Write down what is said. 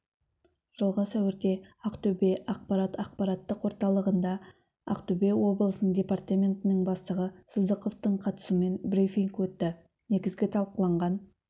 жылғы сәуірде ақтөбе ақпарат ақпараттық орталығында ақтөбе облысының департаментінің бастығы сыздықовтың қатысуымен брифинг өтті негізгі талқыланған